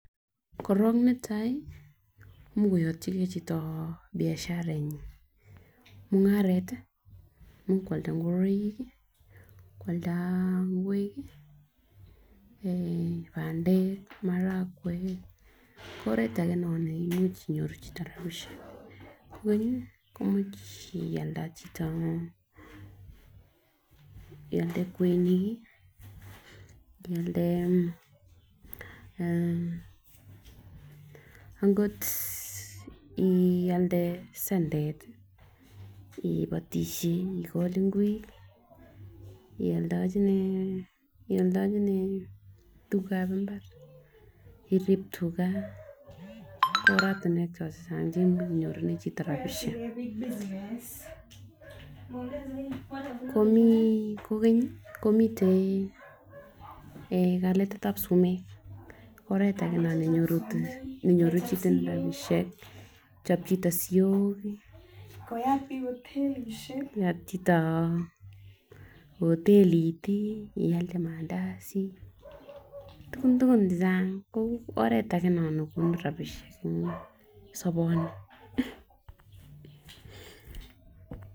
Korong netai much koyotyin gee chito biasharanyin mungaret tii much kwalda ingoroik kii, kwalda ingwek kii, pandek maragwek ko oret age non neimuch inyoru chito rabishek kokenyi ko imuch iade , ialde kwenik kii ialde akot ialde sendeti ipotishe ikol ingwek, ioldochine, ildechine tukuk kab imbar irib tugaa oratumwek choton chechang cheimuch inyorunen chito rabishek, komii kokeny komiten kaletetab sumek oret age non nenyoru nenyorunen chito rabishek, kochob chito siok, koyat chito hotelishek ialde mandazi, tukun tukun chechang ko oret age non nebunu rabishek en soboni.